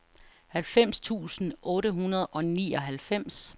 halvfems tusind otte hundrede og nioghalvfems